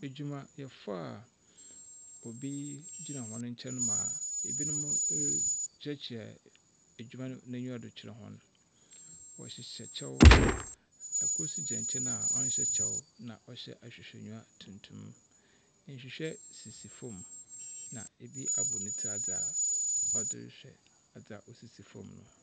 Edwumayɛfo a bi gyina hɔn nkyɛn ma binom ma binom rekyerɛkyerɛ edwuma no n'enyiwa do kyerɛ hɔn. Wɔhyehyɛ kyɛw. Kor nso gyina nkyɛ a ɔnhyɛ kyɛw na ɔhyɛ ahwehwɛnyiwa tuntum. Nhwihwɛ sisi fam, na bi abɔ ne tsir adze a wɔdze rehwɛ adze a osisi fam no.